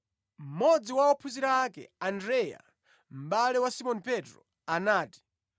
Mmodzi wa ophunzira ake, Andreya, mʼbale wa Simoni Petro, anati,